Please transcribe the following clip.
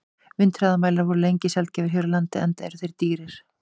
Vindhraðamælar voru lengi sjaldgæfir hér á landi, enda eru þeir dýrir.